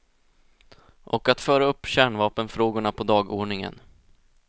Och att föra upp kärnvapenfrågorna på dagordningen.